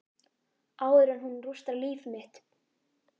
Áður en hún rústar líf mitt.